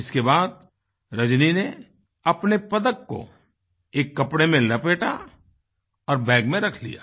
इसके बाद रजनी ने अपने पदक को एक कपड़े में लपेटा और बैग में रख लिया